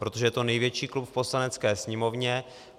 Protože je to největší klub v Poslanecké sněmovně.